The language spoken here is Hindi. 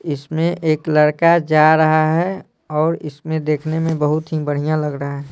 इसमें एक लड़का जा रहा है और इसमें देखने में बहुत ही बढ़िया लग रहा है।